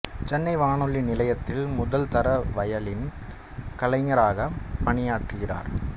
சென்னை வானொலி நிலையத்தில் முதல் தர வயலின் கலைஞராகப் பணியாற்றுகிறார்